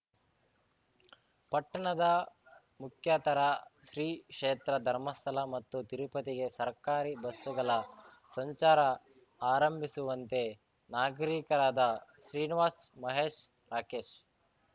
ಪಟ್ಟಣದ ಮುಖ್ಯಾತರ ಶ್ರೀಕ್ಷೇತ್ರ ಧರ್ಮಸ್ಥಳ ಮತ್ತು ತಿರುಪತಿಗೆ ಸರ್ಕಾರಿ ಬಸ್ಸುಗಳ ಸಂಚಾರ ಆರಂಭಿಸುವಂತೆ ನಾಗರಿಕರಾದ ಶ್ರೀನಿವಾಸ್‌ ಮಹೇಶ್‌ ರಾಕೇಶ್‌